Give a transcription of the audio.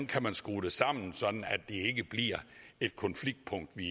kan skrue det sammen sådan at ikke bliver et konfliktpunkt vi